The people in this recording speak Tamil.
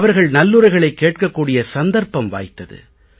அவர்கள் நல்லுரைகளைக் கேட்கக் கூடிய சந்தர்ப்பம் வாய்த்தது